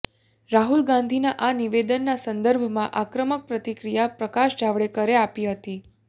રાહુલ ગાંધીના આ નિવેદનના સંદર્ભમાં આક્રમક પ્રતિક્રિયા પ્રકાશ જાવડેકરે આપી હતી